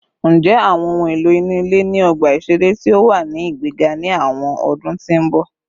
Njẹ awọn ohun elo inu ile ni ọgba iṣere ti o wa ni igbega ni awọn ọdun ti n bọ?